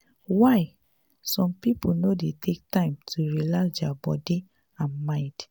why some pipo no dey take time to relax their bodi and mind?